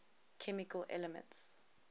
chemical elements